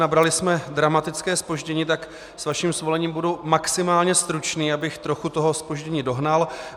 Nabrali jsme dramatické zpoždění, tak s vaším svolením budu maximálně stručný, abych trochu toho zpoždění dohnal.